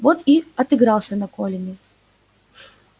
вот и отыгрался на колине